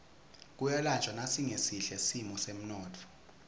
kuyalanjwa nasingesihle simo semnotfo